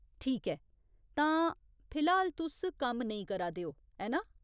ठीक ऐ। तां, फिलहाल, तुस कम्म नेईं करा दे ओ, ऐ ना ?